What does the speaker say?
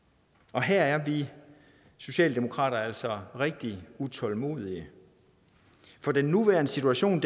og her er vi i socialdemokratiet altså rigtig utålmodige for den nuværende situation